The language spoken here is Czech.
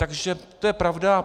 Takže to je pravda.